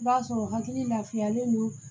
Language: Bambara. I b'a sɔrɔ hakili lafiyalen don